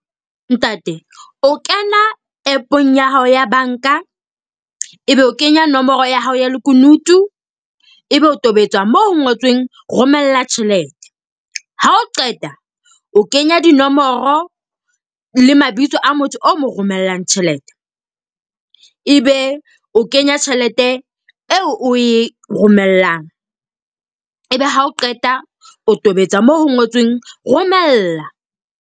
Ntate, o kena app-ong ya hao ya banka. Ebe o kenya nomoro ya hao ya lekunutu. Ebe o tobetsa moo ngotsweng romella tjhelete. Ha o qeta o kenya dinomoro le mabitso a motho o mo romellang tjhelete, ebe o kenya tjhelete eo o e romellang. Ebe ha o qeta o tobetsa moo ho ngotsweng romella.